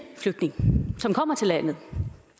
flygtning som kommer til landet